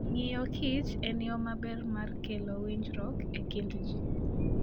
Ng'iyokich en yo maber mar kelo winjruok e kind ji.